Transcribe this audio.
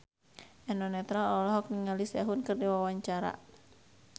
Eno Netral olohok ningali Sehun keur diwawancara